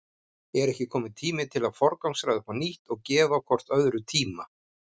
Er ekki kominn tími til að forgangsraða upp á nýtt og gefa hvort öðru tíma?